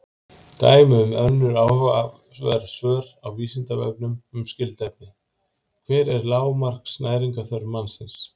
Dæmi um önnur áhugaverð svör á Vísindavefnum um skyld efni: Hver er lágmarks næringarþörf mannsins?